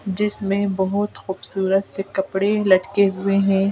जिसमें बहोत खूबसूरत से कपड़े लटके हुए हैं.